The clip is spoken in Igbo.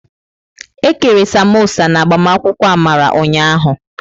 Ekere Samosa n'agbamakwụkwọ Amara ụnyahụ.